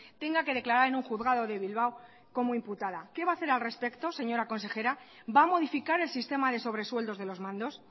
tenga que declarar en un juzgado de bilbao como imputada qué va a hacer al respecto señora consejera va a modificar el sistema de sobresueldos de los mandos